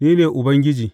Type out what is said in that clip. Ni ne Ubangiji.